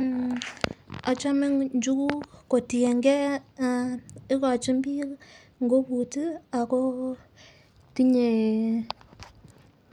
Mmh ochome nchuku kotiyengee ikochin bik ngubut tii ako tinye